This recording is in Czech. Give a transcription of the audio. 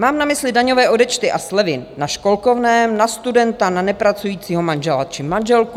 Mám na mysli daňové odečty a slevy na školkovném, na studenta, na nepracujícího manžela či manželku.